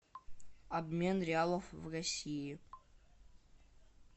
обмен реалов в россии